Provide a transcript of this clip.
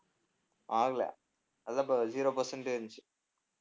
ஆகலை அதான் இப்ப zero percent உ இருந்துச்சு.